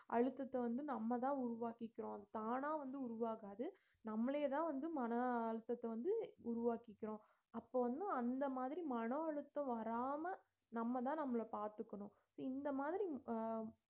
அழுத்தத்தை வந்து நம்மதான் உருவாக்கிக்கிறோம் தானா வந்து உருவாகாது நம்மளேதான் வந்து மன அழுத்தத்தை வந்து உருவாக்கிக்கிறோம் அப்போ வந்து அந்த மாதிரி மன அழுத்தம் வராம நம்மதான் நம்மளை பார்த்துக்கணும் so இந்த மாதிரி அஹ்